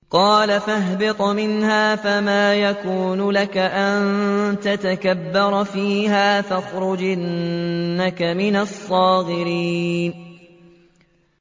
قَالَ فَاهْبِطْ مِنْهَا فَمَا يَكُونُ لَكَ أَن تَتَكَبَّرَ فِيهَا فَاخْرُجْ إِنَّكَ مِنَ الصَّاغِرِينَ